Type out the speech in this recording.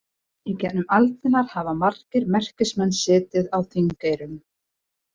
Í gegnum aldirnar hafa margir merkismenn setið á Þingeyrum.